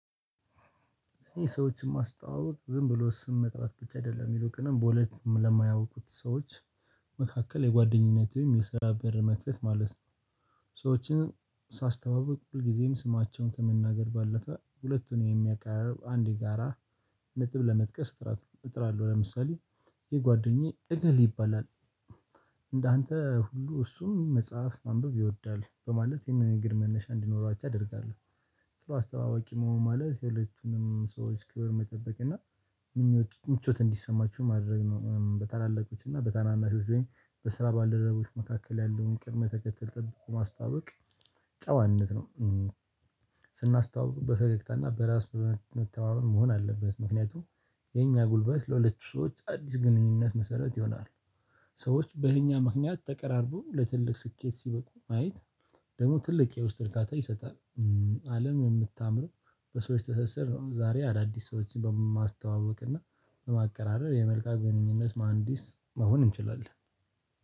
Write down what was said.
ይሄ ሰዎችን ማስተዋወቅ ዝም ብሎ ስም መጥራት ብቻ አይደለም ይይልቁንም በሁለት ለማያውቁት ሰዎች መካከል የጓደኝነትህን የሰራ በር መክፈት ማለት ነው። ሰዎችን ሳስተዋውቅ ሁልጊዜም ስማቸውን ከመናገር ባለፈ ሁለቱን የሚያቀራርብ አንድ የጋራ ንጥብ ለመጥቀስ እጥራለሁ ለምሳሌ ይህ ጓደኛዬ እግሌ ይባላል። እንዳንተ ሁሉ እሱም መጽሐፍ ማንበብ ይወዳል በማለት ይሄንን ነገር መነሻ እንዲኖራቸው አደርጋለሁ። ጥሩ አስተዋዋቂ መሆን ማለት የሁለቱንም ሰዎች ክብር መጠበቅ እና ምኞት ምቾት እንዲሰማችሁ ማድረግ ነው። በታላላቆች እና በታናናሾች ወይም በስራ ባልደረቦች መካከል ያለውን ቅድመ ተከተል ጠብቆ ማስተዋወቅ ጫዋነት ነው። ስናስተዋውቅ በፈገግታና በራስ በመተማመን መሆን አለበት ምክንያቱም የኛ ጉልበት ለሁለቱ ሰዎች አዲስ ግንኙነት መሰረት ይሆናሉ። ሰዎች በእኛ ምክንያት ተቀራርበው ለትልቅ ስኬት ሲበቁ ማየት ደግሞ ትልቅ የውስጥ እርካታ ይሰጣል። አለም የምታምረው በሰዎች ትሰስር ነው። ዛሬ አዳዲስ ሰዎችን በማስተዋወቅ እና በማቀራረብ የመልካም ግንኙነት መሃንዲስ መሆን እንችላለን